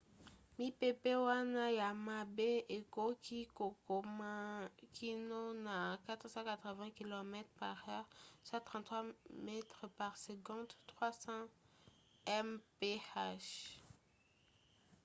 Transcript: mipepe wana ya mabe ekoki kokoma kino na 480 km/h 133 m/s; 300 mph